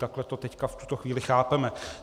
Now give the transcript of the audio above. Takhle to teď v tuto chvíli chápeme.